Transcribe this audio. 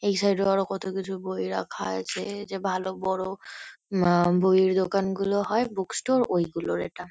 এই সাইড -এ আরো কত কিছু বই রাখা আছে যে ভালো বড় উম আ বইয়ের দোকানগুলো হয় বুক স্টোর ঐগুলোর এটা।